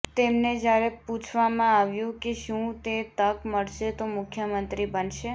તેમને જ્યારે પુછવામાં આવ્યું કે શું તે તક મળશે તો મુખ્યમંત્રી બનશે